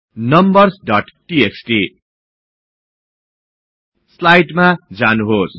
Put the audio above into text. numbers dot TXT स्लाईडमा जानुहोस्